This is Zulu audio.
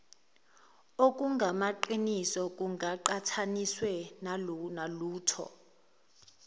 okungamaqiniso kungaqhathaniswe nalutho